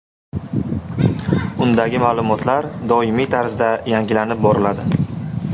Undagi ma’lumotlar doimiy tarzda yangilanib boriladi.